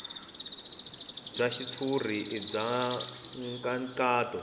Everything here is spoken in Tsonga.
bya xitshuriwa i bya nkhaqato